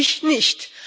Ich nicht.